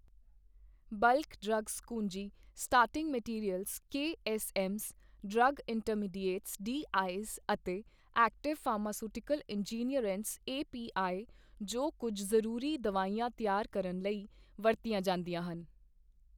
ਬਲਕ drugs ਕੁੰਜੀ starting materials KSMs drug intermediates DIs ਅਤੇ active pharmaceutical ingredients API ਜੋ ਕੁਝ ਜ਼ਰੂਰੀ ਦਵਾਈਆਂ ਤਿਆਰ ਕਰਨ ਲਈ ਵਰਤੀਆਂ ਜਾਂਦੀਆਂ ਹਨ।